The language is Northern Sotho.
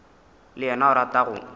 le yena o rata go